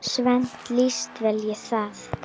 Svenna líst vel á það.